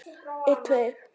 Þetta tók örfáa daga.